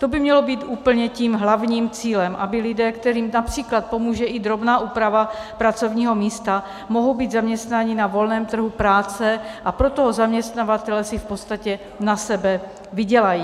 To by mělo být úplně tím hlavním cílem, aby lidé, kterým například pomůže i drobná úprava pracovního místa, mohou být zaměstnaní na volném trhu práce a pro toho zaměstnavatele si v podstatě na sebe vydělají.